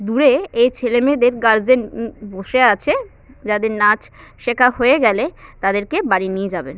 দূরে এই ছেলেমেয়েদের গার্জেন উম বসে আছে যাদের নাচ শেখা হয়ে গেলে তাদেরকে বাড়ি নিয়ে যাবেন।